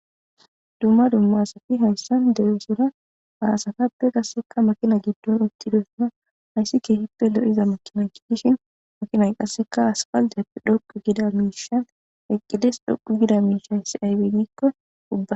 dumma dumma asati hayssan dereosora aasatappe qasseka makina giddon utti deosuna hayssi kehippe lo7iza makina ki dishin makinay qasseka aspaldeappe dhoqu gida miishan eqqides dhoqu gida miish hayssi aybegikko ubba